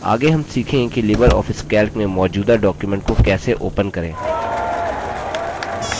आगे हम सीखेंगे कि लिबर ऑफिस calc में मौजूदा document को कैसे open करें